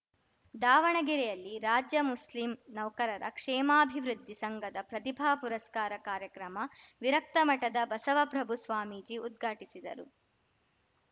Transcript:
ದಾವಣಗೆರೆಯಲ್ಲಿ ರಾಜ್ಯ ಮುಸ್ಲಿಂ ನೌಕರರ ಕ್ಷೇಮಾಭಿವೃದ್ಧಿ ಸಂಘದ ಪ್ರತಿಭಾ ಪುರಸ್ಕಾರ ಕಾರ್ಯಕ್ರಮ ವಿರಕ್ತಮಠದ ಬಸವಪ್ರಭು ಸ್ವಾಮೀಜಿ ಉದ್ಘಾಟಿಸಿದರು